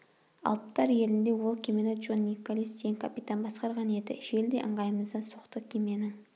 алыптар елінде ол кемені джон николес деген капитан басқарған еді жел де ыңғайымыздан соқты кеменің